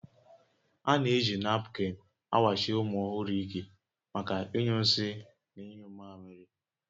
A na-eji napkịn awachi ụmụ ọhụrụ ike maka ịnyụ nsị na ịnyụ mmamịrị